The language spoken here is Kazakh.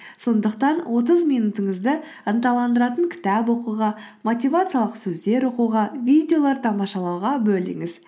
сондықтан отыз минутыңызды ынталандыратын кітап оқуға мотивациялық сөздер оқуға видеолар тамашалауға бөліңіз